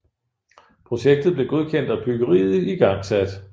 Projektet blev godkendt og byggeriet igangsat